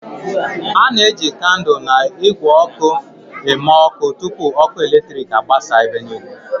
A na-eji kandụl na igwe oku eme ọkụ tupu ọkụ eletrik agbasa ebe niile.